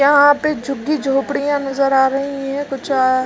यहाँ पे झुग्गी झोपड़ियाँ नजर आ रही है कुछ आ --